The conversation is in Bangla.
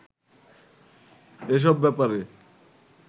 এসব ব্যাপারে